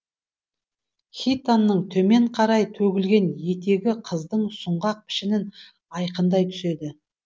хитонның төмен қарай төгілген етегі қыздың сұңғақ пішінін айқындай түседі